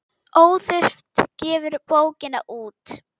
Óþurft gefur bókina út.